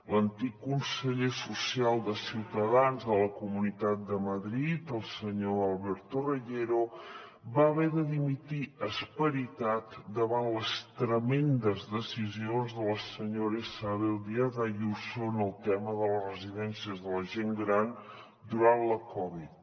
l’antic conseller social de ciutadans a la comunitat de madrid el senyor alberto reyero va haver de dimitir esperitat davant les tremendes decisions de la senyora isabel díaz ayuso en el tema de les residències de la gent gran durant la covid